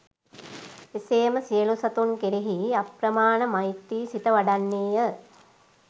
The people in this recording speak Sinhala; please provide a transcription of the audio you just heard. එසේම සියලු සතුන් කෙරෙහි අප්‍රමාණ මෛත්‍රි සිත වඩන්නේ ය.